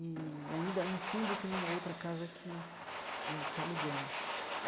E ainda no fundo tem uma outra casa que eh que alugamos.